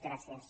gràcies